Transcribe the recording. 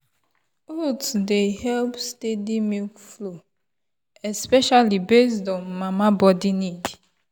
oats dey help steady milk flow especially based on mama body need.